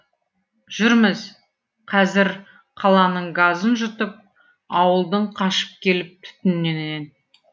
жүрміз қазір қаланың газын жұтып ауылдың қашып келіп түтінінен